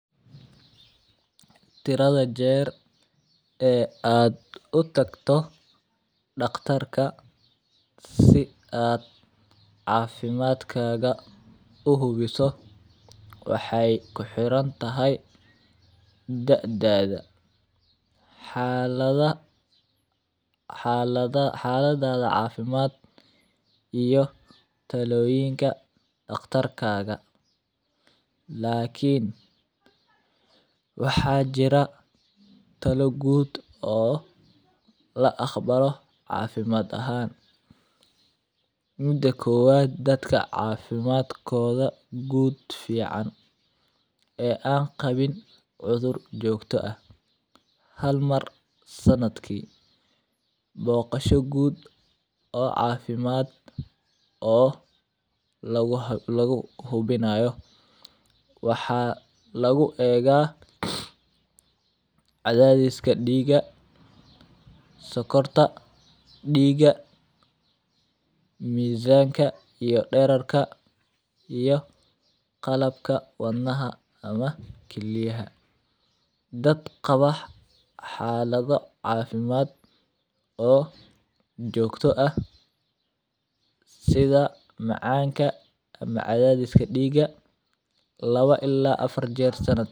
Tirada jeer ee aad u tagto dhakhtarka si aad caafimaadkaaga u hubiso waxay ku xiran tahay da'daada, xaalada, xaalada, xaaladaada caafimaad iyo talooyinka dhakhtar kaaga. Laakiin waxaa jira talo guud oo la akhbaro caafimaad ahaan. Mudda kowa dadka caafimaadkooda guud fiican ee aan qabin cudur joogto ah. Hal mar sannad kii, booqasho guud oo caafimaad oo lagu, lagu hubinayo waxaa lagu eega cadadeeskad dhiiga, sokorta dhiiga, miisaanka iyo dhererka iyo qalabka wadnaha ama keliyaha. Dad qabax xaalado caafimaad oo joogto ah sida macaanka ama cadaadiska dhiiga laba illaa afar jeer sannad.